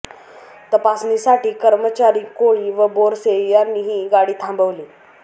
तपासणीसाठी कर्मचारी कोळी व बोरसे यांनी ही गाडी थांबविली